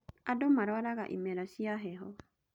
Andũ marwaraga imera cia heho.